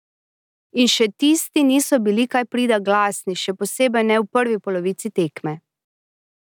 In še tisti niso bili kaj prida glasni, še posebej ne v prvi polovici tekme.